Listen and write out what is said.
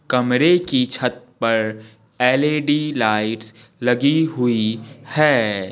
कमरे की छत पर एल_ई_डी लाइट्स लगी हुई है।